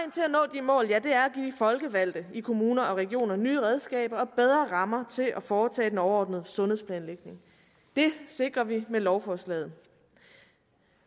mål er at give folkevalgte i kommuner og regioner nye redskaber og bedre rammer til at foretage den overordnede sundhedsplanlægning det sikrer vi med lovforslaget